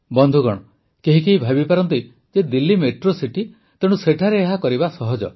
ବନ୍ଧୁଗଣ କେହି କେହି ଭାବିପାରନ୍ତି ଯେ ଦିଲ୍ଲୀ ମେଟ୍ରୋ ସିଟି ତେଣୁ ସେଠାରେ ଏହା କରିବା ସହଜ